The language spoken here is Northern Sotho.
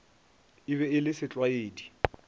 e be e le setlwaedi